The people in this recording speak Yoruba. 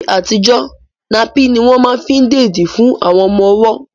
Ní àtijọ́, napín ní wọ́n ma fí ń dèdí fún àwọn ọmọ ọwọ́